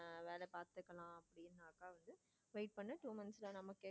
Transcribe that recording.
Try பண்ண two month லா நமக்கு.